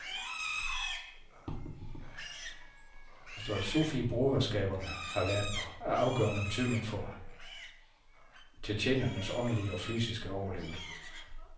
Sufibroderskaberne har været af afgørende betydning for tjetjenernes åndelige og fysiske overlevelse.